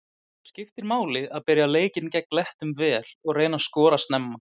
Það skiptir máli að byrja leikinn gegn Lettum vel og reyna að skora snemma.